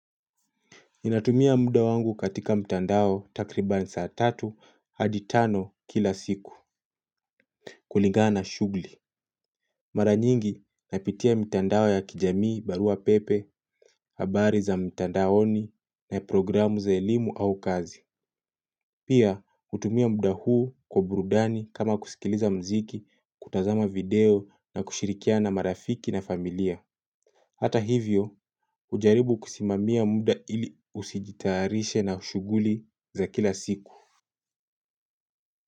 Ninatumia muda wangu katika mtandao takriban saatatu hadi tano kila siku. Kuligana shughuli mara nyingi napitia mtandao ya kijamii barua pepe, habari za mtandaoni na programu za elimu au kazi. Pia hutumia muda huu kwa burudani kama kusikiliza mziki, kutazama video na kushirikiana na marafiki na familia hata hivyo hujaribu kusimamia muda ili ujitayarishe na shughuli za kila siku.